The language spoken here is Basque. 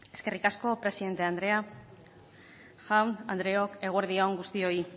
eskerrik asko presidente andrea jaun andreok eguerdi on guztioi